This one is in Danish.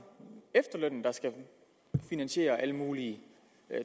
efterlønnen der skal finansiere alle mulige